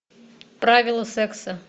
правила секса